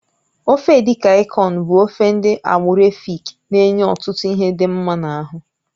Ofe edikaikon bụ ofe ndị agbụrụ Èfik na-enye ọtụtụ ihe dị mma n'ahụ